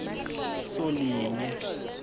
solinye